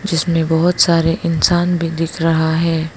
इसमें बहुत सारे इंसान भी दिख रहा है।